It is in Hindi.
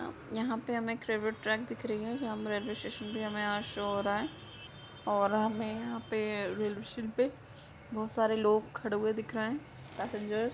यहां पे हमे रेलवे ट्रैक दिख रही है जो रेल्वे स्टेशन भी हमे यहां शो हो रहा है और हमे यहां पे रेलवे स्टेशन बहुत सारे लोग खड़े हुए दिख रहे पैसेंजर ---